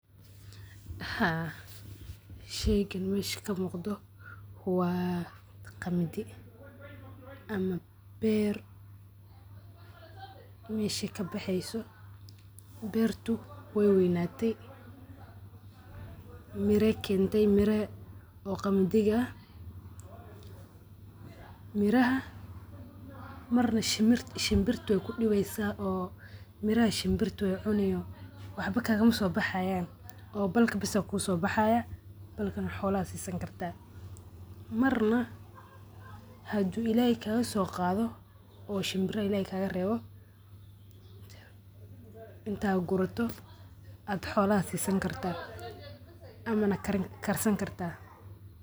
Sheygan mesha kamuqdo wa qamidi ama ber mesha kabaxeyso, berto way weynati mira ay kenti mira qamdi ah miraha marna shimbirta waykudibeysa o miraha shimbirta way cunii oo waxba kagamasobaxayan o balki bis aa kusobaxayo, balka xolaha sisani karta marna hadu ilahay kagasoqado oo shimbiraha ilahay kagarebo inta guruto ad xolaha sisani karta amana karsani karta.